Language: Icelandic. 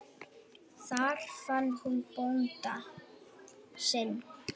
Þar fann hún bónda sinn.